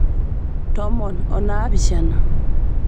tomon o naapishana